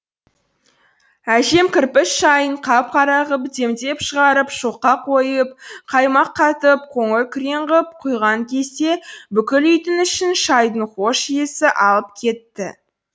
әжем кірпіш шайын қап қара ғып демдеп шығарып шоққа қойып қаймақ қатып қоңыр күрең ғып құйған кезде бүкіл үйдің ішін шайдың хош иісі алып кетті